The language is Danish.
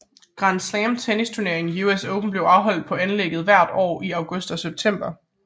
Grand Slam tennisturneringen US Open bliver afholdt på anlægget hver år i august og september